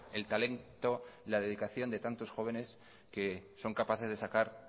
el talento y la dedicación de tantos jóvenes que son capaces de sacar